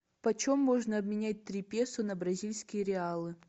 почем можно обменять три песо на бразильские реалы